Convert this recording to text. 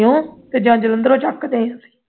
ਲੁਧਿਆਣਿਓਂ ਜਾਂ ਜਲੰਧਰੋਂ ਚੁੱਕਦੇ ਆ